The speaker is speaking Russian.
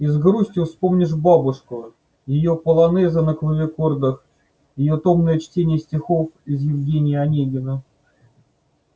и с грустью вспомнишь бобушку её полонезы на клавикордах её томное чтение стихов из евгения онегина